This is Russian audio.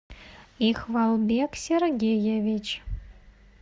ихвалбек сергеевич